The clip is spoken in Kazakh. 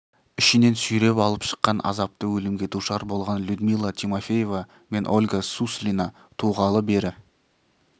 ішінен сүйреп алып шыққан азапты өлімге душар болған людмила тимофеева мен ольга суслина туғалы бері